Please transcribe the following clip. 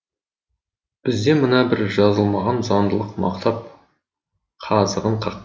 бізде мына бір жазылмаған заңдылық мықтап қазығын қақ